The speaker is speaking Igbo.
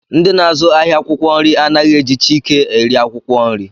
Ndị na-azụ ahịa akwụkwọ nri anaghị ejicha ike eri akwụkwọ nri